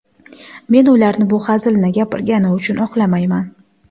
Men ularni bu hazilni gapirgani uchun oqlamayman.